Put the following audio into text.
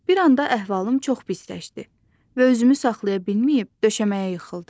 Bir anda əhvalım çox pisləşdi və özümü saxlaya bilməyib döşəməyə yıxıldım.